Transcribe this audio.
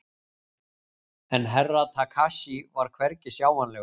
En Herra Takashi var hvergi sjáanlegur.